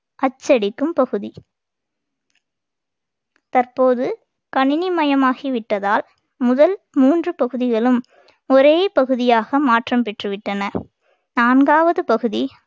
அச்சடிக்கும் பகுதி தற்போது கணினி மயமாகி விட்டதால் முதல் மூன்று பகுதிகளும் ஒரே பகுதியாக மாற்றம் பெற்று விட்டன நான்காவது பகுதி